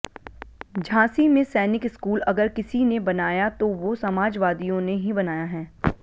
झांसी में सैनिक स्कूल अगर किसी ने बनाया तो वो समाजवादियों ने ही बनाया है